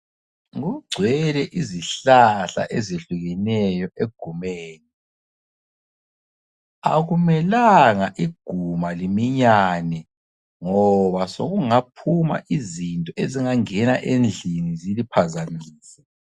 Kugcwele izihlahla ezehlukeneyo egumeni. Akumelanga iguma liminyane ngoba sokungaphuma izinto ezingangena endlini ziliphazamise.